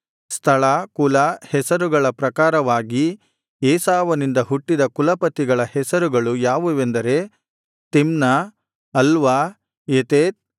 ಸ್ಥಳ ಕುಲ ಹೆಸರುಗಳ ಪ್ರಕಾರವಾಗಿ ಏಸಾವನಿಂದ ಹುಟ್ಟಿದ ಕುಲಪತಿಗಳ ಹೆಸರುಗಳು ಯಾವುವೆಂದರೆ ತಿಮ್ನ ಅಲ್ವಾ ಯೆತೇತ